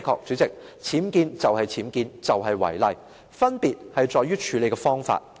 主席，僭建就是僭建，就是違例，分別在於處理的方法。